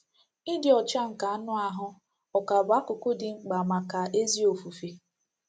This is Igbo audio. Ịdị ọcha nke anụ ahụ́ ọ̀ ka bụ akụkụ dị mkpa maka ezi ofufe?